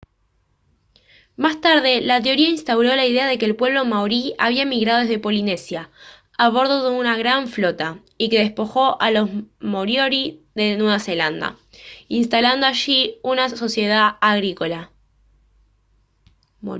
más tarde la teoría instauró la idea de que el pueblo maorí había emigrado desde polinesia a bordo de una gran flota y que despojó a los moriori de nueva zelanda instalando allí una sociedad agrícola